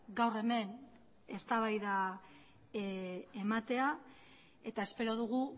gaur hemen eztabaida ematea eta espero dugu